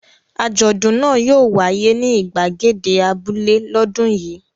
Àjọ̀dún náà yóò wáyé ní ìgbàgede abúlé lọ́dún yìí.